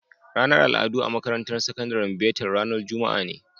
Ranar al'adu a makarantar sakandaren betel ranar Juma'a ne.